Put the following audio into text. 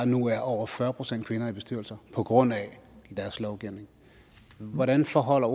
nu er over fyrre procent kvinder i bestyrelser på grund af deres lovgivning hvordan forholder